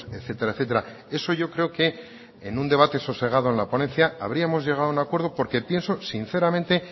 etcétera etcétera eso yo creo que en un debate sosegado en la ponencia habríamos llegado a un acuerdo porque pienso sinceramente